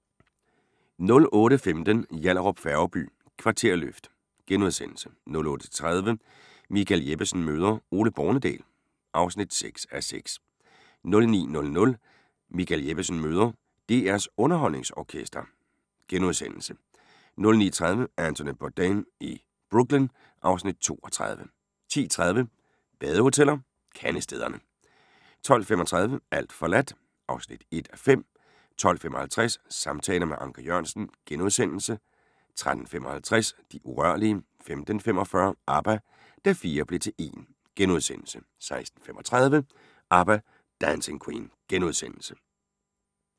08:15: Yallahrup Færgeby: Kvarterløft * 08:30: Michael Jeppesen møder ... Ole Bornedal (6:6) 09:00: Michael Jeppesen møder ... DR's UnderholdningsOrkester * 09:30: Anthony Bourdain i Brooklyn (Afs. 32) 10:30: Badehoteller - Kandestederne 12:35: Alt forladt (1:5) 12:55: Samtaler med Anker Jørgensen * 13:55: De urørlige 15:45: ABBA – Da fire blev til en * 16:35: ABBA – Dancing Queen *